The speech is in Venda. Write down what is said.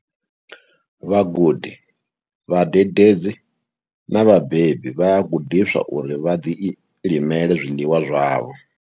Vhagudi, vhadededzi na vhabebi vha a gudiswa uri vha ḓilimele zwiḽiwa zwavho.